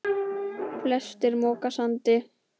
Flestir moka sandi.